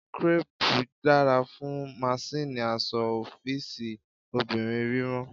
Crepe dara fun masinni aṣọ ọfiisi obinrin rírán.